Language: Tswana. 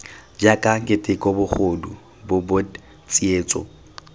jaaka keteko bogodu bobod tsietso